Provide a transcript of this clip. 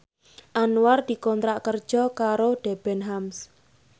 Anwar dikontrak kerja karo Debenhams